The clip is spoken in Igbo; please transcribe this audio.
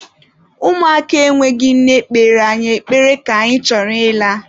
Ụmụaka enweghị nne kpere anyị ekpere ka anyị chọrọ ịla.